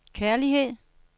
kærlighed